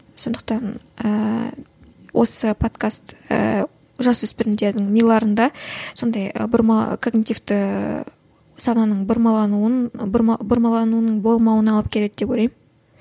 сондықтан ыыы осы подкаст ыыы жасөспірімдердің миларында сондай ы бұрма коммунитивті сананың бұрмалануын бұрма бұрмалануының болмауына алып келеді деп ойлаймын